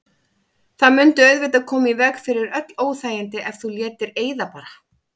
Það mundi auðvitað koma í veg fyrir öll óþægindi ef þú létir eyða bara.